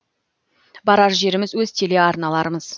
барар жеріміз өз телеарналарымыз